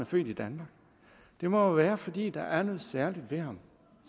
født i danmark det må jo være fordi der er noget særligt ved ham